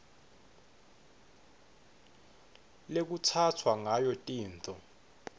lekutsatfwa ngayo tintfo